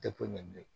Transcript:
Tɛ foyi ɲɛ bilen